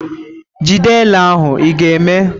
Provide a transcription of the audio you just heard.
Jide ele ahụ, ị ​​ga-eme?